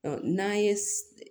N'an ye